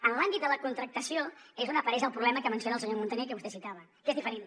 en l’àmbit de la contractació és on apareix el problema que menciona el senyor muntaner i que vostè citava que és diferent